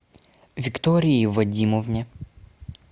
виктории вадимовне